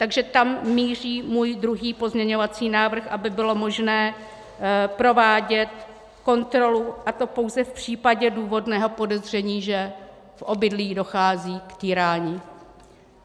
Takže tam míří můj druhý pozměňovací návrh, aby bylo možné provádět kontrolu, a to pouze v případě důvodného podezření, že v obydlí dochází k týrání.